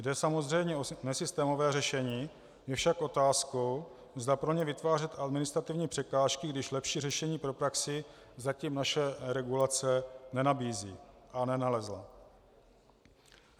Jde samozřejmě o nesystémové řešení, je však otázkou, zda pro ně vytvářet administrativní překážky, když lepší řešení pro praxi zatím naše regulace nenabízí a nenalezla.